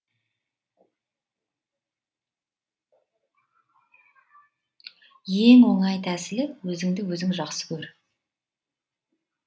ең оңай тәсілі өзіңді өзің жақсы көр